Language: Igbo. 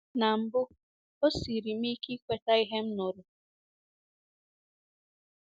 Na mbụ, o siiri m ike ikweta ihe m nụrụ.